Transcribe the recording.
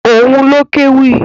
Òun ló kéwì.